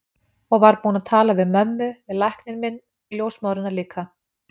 Og var búin að tala við mömmu, við lækninn minn, ljósmóðurina líka.